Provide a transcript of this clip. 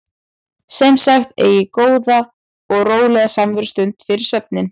Sem sagt: Eigið góða og rólega samverustund fyrir svefninn.